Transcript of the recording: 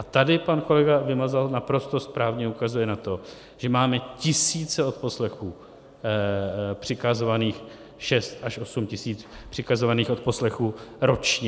A tady pan kolega Vymazal naprosto správně ukazuje na to, že máme tisíce odposlechů přikazovaných, šest až osm tisíc přikazovaných odposlechů ročně.